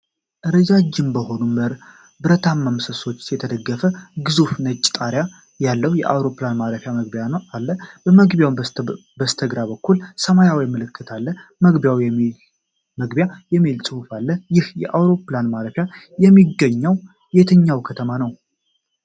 ረጃጅም በሆኑ ብረታማ ምሰሶዎች የተደገፈ ግዙፍ ነጭ ጣሪያ ያለው የአውሮፕላን ማረፊያ መግቢያ አለ። ከመግቢያው በስተግራበኩል ሰማያዊ ምልክት ላይ "መግቢያ" የሚል ጽሑፍ አለ፤ ይህ አውሮፕላን ማረፊያ የሚገኘው የትኛው ከተማ ነው?